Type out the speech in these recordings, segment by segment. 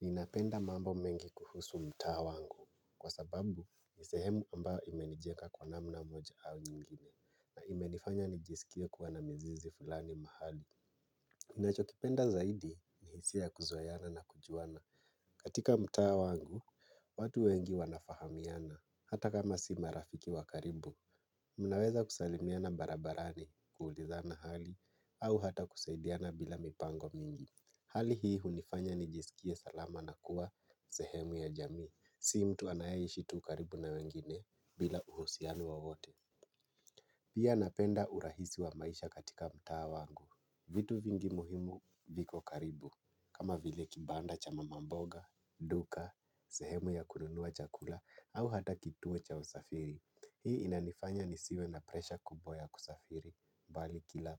Ninapenda mambo mengi kuhusu mtaa wangu kwa sababu nisehemu ambayo imenijenga kwa namna moja au nyingine na imenifanya nijisikie kuwa na mizizi fulani mahali. Ninachokipenda zaidi ni hisia kuzoeana na kujuana. Katika mtaa wangu, watu wengi wanafahamiana hata kama si marafiki wakaribu, mnaweza kusalimiana barabarani kuulizana hali au hata kusaidiana bila mipango mingi. Hali hii hunifanya nijisikie salama na kuwa sehemu ya jamii, si mtu anayeishi tu ukaribu na wengine bila uhusian wowote. Pia napenda urahisi wa maisha katika mtaa wangu, vitu vingi muhimu viko karibu. Kama vile kibanda cha mamamboga, duka, sehemu ya kununua chakula au hata kituo cha usafiri. Hii inanifanya nisiwe na presha kubwa kusafiri, bali kila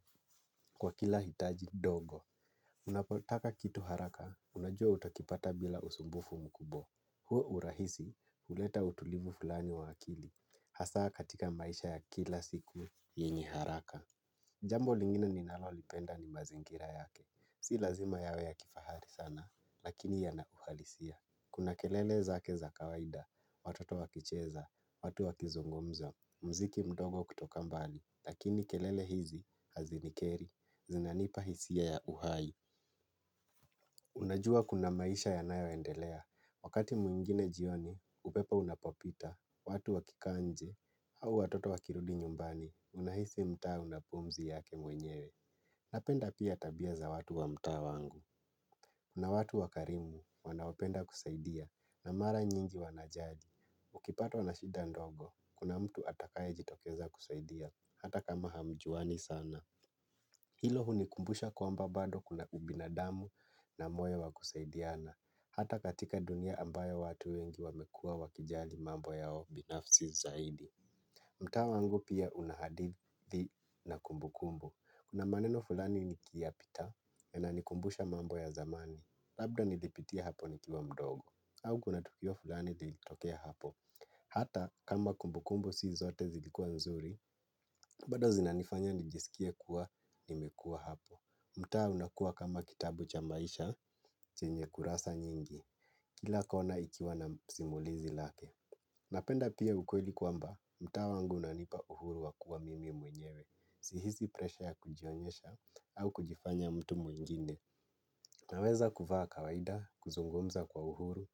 kwa kila hitaji dogo. Unapotaka kitu haraka, unajua utakipata bila usumbufu mkubwa. Huo urahisi, uleta utulivu fulani wa akili m, hasaa katika maisha ya kila siku, yenye haraka. Jambo lingine ninalolipenda ni mazingira yake. Si lazima yawe ya kifahari sana, lakini yanauhalisia. Kuna kelele zake za kawaida, watoto wakicheza, watu wakizungumza, muziki mdogo kutoka mbali, lakini kelele hizi hazinikeri. Zinanipa hisia ya uhai. Unajua kuna maisha yanayo endelea. Wakati mwingine jioni, upepo unapopita watu wakikaa nje au watoto wakirudi nyumbani unahisi mtaa unapumzi yake mwenyewe. Napenda pia tabia za watu wa mtaa wangu. Kuna watu wakarimu wanaopenda kusaidia na mara nyingi wanajali. Ukipatwa na shida ndogo, kuna mtu atakayejitokeza kusaidia. Hata kama hamjuani sana hilo hunikumbusha kwamba bado kuna ubinadamu na moyo wakusaidiana. Hata katika dunia ambaye watu wengi wamekua wakijali mambo yao binafsi zaidi. Mtaa wangu pia unahadithi na kumbukumbu. Kuna maeneo fulani nikiyapita yananikumbusha mambo ya zamani. Labda nilipitia hapo nikiwa mdogo au kuna tukio fulani lilitokea hapo. Hata kama kumbukumbu si zote zilikua nzuri bado zinanifanya nijisikie kuwa nimekuwa hapo. Mtaa unakuwa kama kitabu cha maisha, chenye kurasa nyingi. Kila kona ikiwa na simulizi lake. Napenda pia ukweli kwamba, mtaa wangu unanipa uhuru wakuwa mimi mwenyewe. Sihisi presha ya kujionyesha au kujifanya mtu mwingine. Naweza kuvaa kawaida, kuzungumza kwa uhuru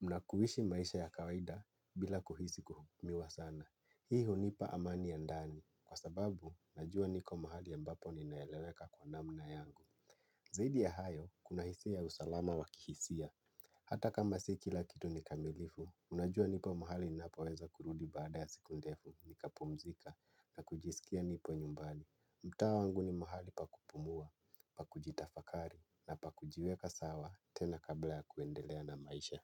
na kuishi maisha ya kawaida bila kuhisi kuhukumiwa sana. Hii hunipa amani ya ndani kwa sababu, najua niko mahali ya mbapo ninaeleweka kwa namna yangu. Zaidi ya hayo kuna hisia ya usalama wakihisia. Hata kama si kila kitu nikamilifu, unajua nipo mahali ninapoweza kurudi baada ya siku ndefu nikapumzika na kujisikia nipo nyumbali. Mtaa wangu ni mahali pakupumua, pakujitafakari na pakujiweka sawa tena kabla ya kuendelea na maisha.